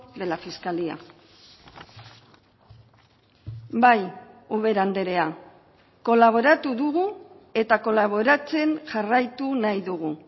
de la fiscalía bai ubera andrea kolaboratu dugu eta kolaboratzen jarraitu nahi dugu